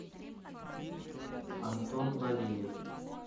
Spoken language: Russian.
антон бариев